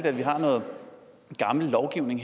at vi har noget gammel lovgivning